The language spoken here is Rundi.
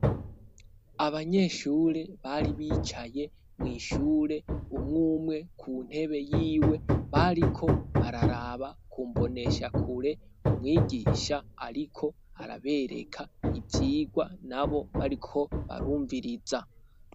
Abanyeshure bari bicaye mw' ishure umwumwe ku ntebe y'iwe bariko bararaba kumbonesha kure umwigisha ariko arabereka ivyigwa nabo bariko barumviriza.